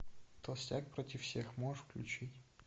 толстяк против всех можешь включить